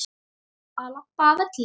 Að labba af velli?